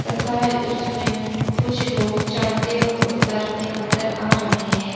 तथा इसमें कुछ लोग चढ़ते और उतरते नजर आ रहे हैं।